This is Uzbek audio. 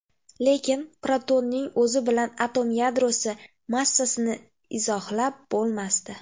Lekin protonning o‘zi bilan atom yadrosi massasini izohlab bo‘lmasdi.